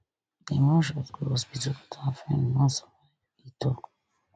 dem rush us go hospital but our friend no survive e tok